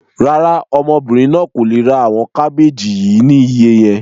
Rárá, ọmọbìnrin náà kò le ra àwọn kábéjì yìí ni iye yẹn.